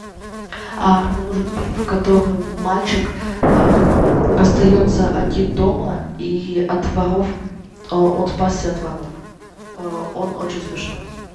мне нужен фильм в котором мальчик остается один дома и от воров он спасся от воров он очень смешной